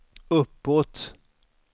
uppåt